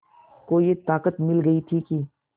को ये ताक़त मिल गई थी कि